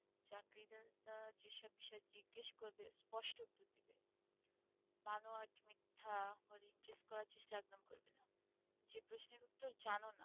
চাকরিদাতা যেসব বিষয় জিজ্ঞেস করবে স্পষ্ট উত্তর দিবে বানোয়াট মিথ্যাও replace করার চেষ্টা একদম করবেনা যে প্রশ্নের উত্তর জানো না,